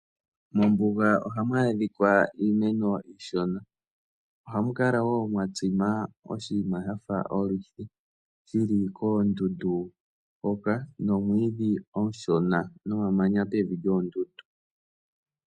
Mombuga ohamu adhikwa iimeno iishona ohamu kala wo mwatsima oshinima shafa oluthi shili koondundu hoka nomwiidhi omushona nomamanya pevi lyoondundu.